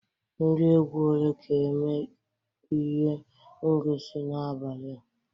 Ndị egwu ole ga-eme ihe ngosi n'abalị a?